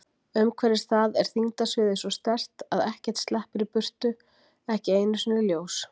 Umhverfis það er þyngdarsviðið svo sterkt að ekkert sleppur í burtu, ekki einu sinni ljós.